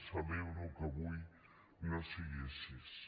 celebro que avui no sigui així